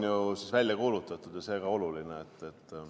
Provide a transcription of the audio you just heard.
Jõulurahu on välja kuulutatud ja see on ka oluline.